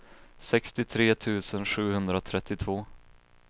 sextiotre tusen sjuhundratrettiotvå